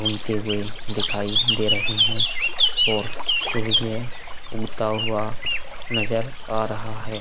उनते हुए दिखाई दे रहे है और सूर्य उगता हुआ नजर आ रहा है।